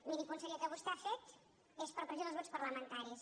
miri conseller el que vostè ha fet és per pressió dels grups parlamentaris